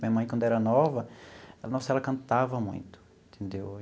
Minha mãe, quando era nova, nossa ela cantava muito, entendeu?